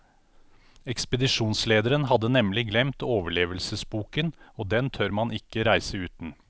Ekspedisjonslederen hadde nemlig glemt overlevelsesboken, og den tør man ikke reise uten.